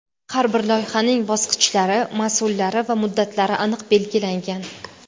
Har bir loyihaning bosqichlari, mas’ullari va muddatlari aniq belgilangan.